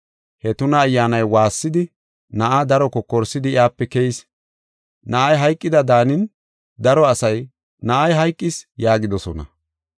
He tuna ayyaanay waassidi, na7aa daro kokorsidi, iyape keyis. Na7ay hayqida daanin, daro asay, “Na7ay hayqis” yaagidosona.